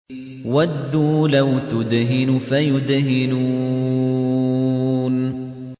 وَدُّوا لَوْ تُدْهِنُ فَيُدْهِنُونَ